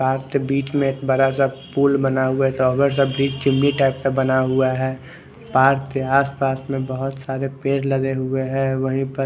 आपके बीच में बड़ा सा पूल बना हुआ है चुनी टाइप का बना हुआ है पार्क के आस पास में बहोत पेड़ लगे हुए है वही पर--